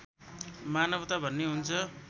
मानवता भन्ने हुन्छ